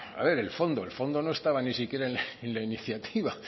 a ver el fondo el fondo no estaba ni siquiera en la iniciativa